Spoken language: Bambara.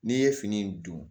N'i ye fini dun